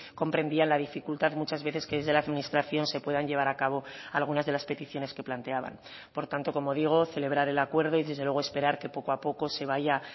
comprendían la dificultad muchas veces que desde la administración se puedan llevar a cabo algunas de las peticiones que planteaban por tanto como digo celebrar el acuerdo y desde luego esperar que poco a poco se vaya